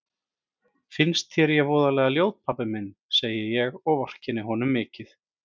Finnst þér ég voðalega ljót pabbi minn, segi ég og vorkenni honum mikið.